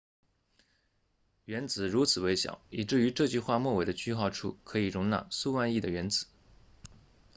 原子如此微小以至于这句话末尾的句号处可以容纳数万亿的原子